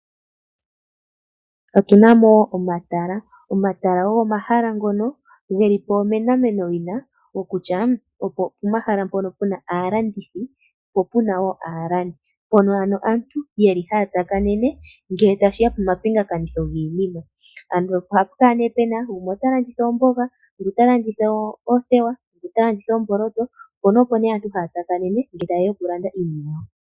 Otu na mo omatala. Omatala ogo omahala ngono ge li po onomenawina kokutya opo pomahala mpoka pu na aalandithi po pu na wo aalandi. Mpono ano aantu haya tsaakanene ngele tashi ya pomapingakanitho giinima. Ohapu kala nduno pu na gumwe ota landitha oomboga, ngu ta landitha oothewa, ngu ta landitha oomboloto. Opo nduno aantu haya tsakanene ngele taye ya okulanditha iinima yawo.